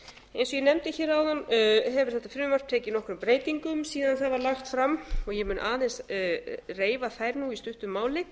og ég nefndi hér áðan hefur þetta frumvarp tekið nokkrum breytingum síðan það var lagt fram og ég mun aðeins reifa þær nú í stuttu máli